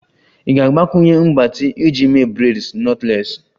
Ị ga-agbakwunye mgbatị iji mee braids knotless?